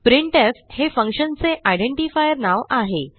printf हे फंक्शनचे identifier नाव आहे